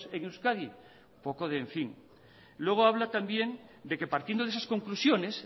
en euskadi un poco de en fin luego habla también de que partiendo de esas conclusiones